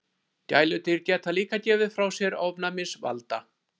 Gæludýr geta líka gefið frá sér ofnæmisvalda.